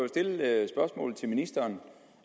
stille det spørgsmål til ministeren